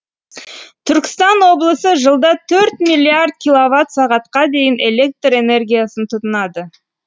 түркістан облысы жылда төрт миллиард килловатт сағатқа дейін электр энергиясын тұтынады